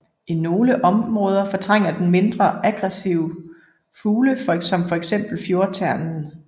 I nogle områder fortrænger den mindre aggressive fugle som for eksempel fjordternen